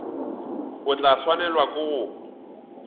o tla swanelwa ke go